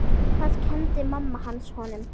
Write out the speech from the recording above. Hvað kenndi mamma hans honum?